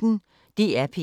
DR P1